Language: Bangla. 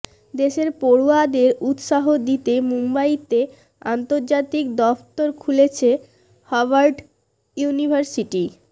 দেশের পড়ুয়াদের উত্সাহ দিতে মুম্বইতে আন্তর্জাতিক দফতর খুলছে হার্ভার্ড ইউনিভার্সিটি